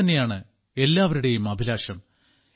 ഇതുതന്നെയാണ് എല്ലാവരുടെയും അഭിലാഷം